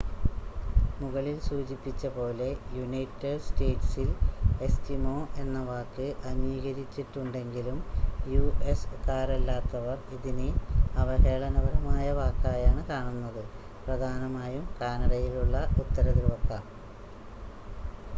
മുകളിൽ സൂചിപ്പിച്ചപോലെ യുണൈറ്റഡ് സ്റ്റേറ്റ്സിൽ ‘എസ്കിമോ’ എന്ന വാക്ക് അംഗീകരിച്ചിട്ടുണ്ടെങ്കിലും യു.എസ്സ് കാരല്ലാത്തവർ ഇതിനെ അവഹേളനപരമായ വാക്കായാണ് കാണുന്നത്. പ്രധാനമായും കാനഡയിലുള്ള ഉത്തരധ്രുവക്കാർ